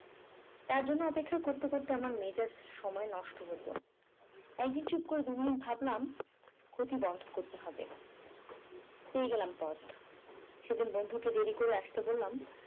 তার জন্য অপেক্ষা করতে করতে আমার মেজাজ সময় নষ্ট হত একদিন চুপ করে দু minutes ভাবলাম দুঃখটা বন্ধ করতে হবে। পেয়ে গেলাম পথ সেদিকে বন্ধুকে দেরি করে আসতে বললাম